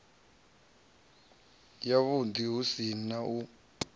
yavhuḓi hu si na u